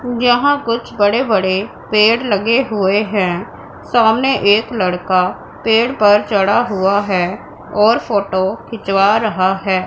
यहां कुछ बड़े बड़े पेड़ लगे हुए है सामने एक लड़का पेड़ पर चढ़ा हुआ है और फोटो खिंचवा रहा है।